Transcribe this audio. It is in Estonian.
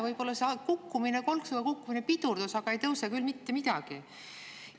Võib-olla see kukkumine, kolksuga kukkumine, pidurdus, aga ei tõuse küll mitte midagi.